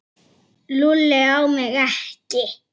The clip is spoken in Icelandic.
Svo fór þetta að lagast.